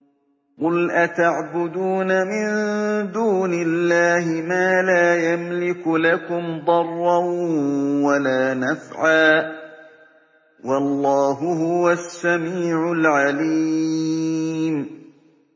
قُلْ أَتَعْبُدُونَ مِن دُونِ اللَّهِ مَا لَا يَمْلِكُ لَكُمْ ضَرًّا وَلَا نَفْعًا ۚ وَاللَّهُ هُوَ السَّمِيعُ الْعَلِيمُ